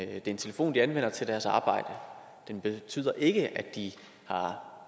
er en telefon de anvender til deres arbejde og den betyder ikke at de har